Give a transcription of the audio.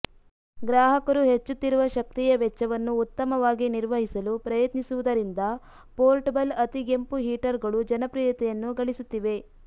ಗ್ರಾಹಕರು ಹೆಚ್ಚುತ್ತಿರುವ ಶಕ್ತಿಯ ವೆಚ್ಚವನ್ನು ಉತ್ತಮವಾಗಿ ನಿರ್ವಹಿಸಲು ಪ್ರಯತ್ನಿಸುವುದರಿಂದ ಪೋರ್ಟಬಲ್ ಅತಿಗೆಂಪು ಹೀಟರ್ಗಳು ಜನಪ್ರಿಯತೆಯನ್ನು ಗಳಿಸುತ್ತಿವೆ